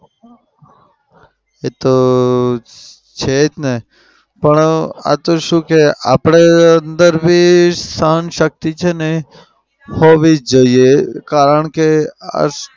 એતો છે જ ને. પણ આતો શું કે આપડી અંદર બી સહન શક્તિ છે ને હોવી જ જોઈએ કારણ કે આ